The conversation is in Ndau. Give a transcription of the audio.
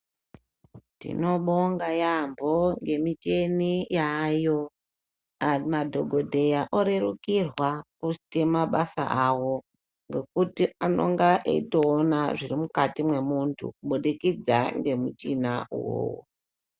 Tinobonga yambo ngemicheni yaayo, madhogodheya orerukirwa kuite mabasa awo, ngekuti anenge eitoona zvirimukati mwemuntu kubudikidza ngemuchina uwowo.